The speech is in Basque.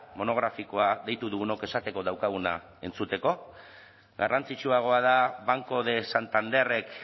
monografikoa deitu dugunok esateko daukaguna entzuteko garrantzitsuagoa da banco de santanderrek